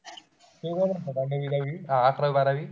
अकरावी-बारावी?